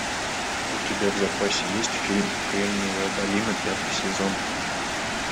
у тебя в запасе есть фильм кремниевая долина пятый сезон